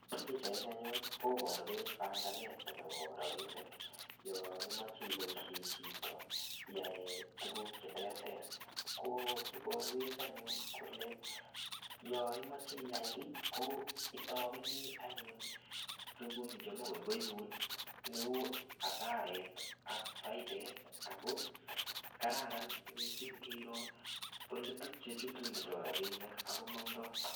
Pichaini anyun koborwech panganet nebo rabinik yon imoche iboishen chito iyae tukuk cheterter ko iborwech anyun kole yon imoche iyai kii ko itopenii anyun tukun chemai kokoibun neu asaret ak faidet ako kararan missing ole tun olechutundo rabinik ak komondoi.